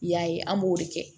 I y'a ye an b'o de kɛ